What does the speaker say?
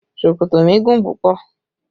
Ṣòkòtò mi gùn púpọ̀